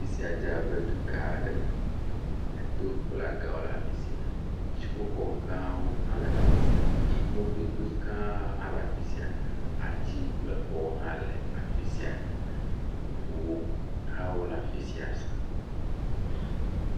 Fisia dze abe dugã aɖeme eto kple aga wo le afisia, dziƒo gã wo hã wo le afisia, mɔdodo gã hã le afisia, ati kple xɔ wo hã le afisia ʋuwo hã wo le afisia zã.